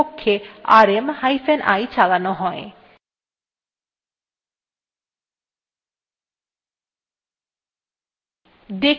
যাতে আমরা যখন rm চালাব তখন প্রকৃতপক্ষে rm hyphen i চালানো হয়